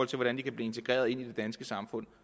til hvordan de kan blive integreret i det danske samfund